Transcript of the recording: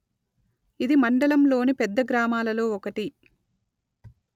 ఇది మండలంలోని పెద్ద గ్రామాలలో ఒకటి